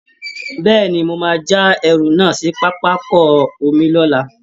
Bẹ́ẹ̀ ni, wọ́n máa já ẹrù náà sí pápákọ̀ omi lọ́la